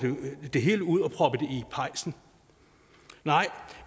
det hele ud og proppet det i pejsen